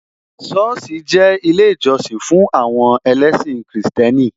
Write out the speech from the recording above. Sọ́ọ̀sì jẹ́ ilé ìjọsìn fún àwọn ẹlẹ́sìn Kristẹni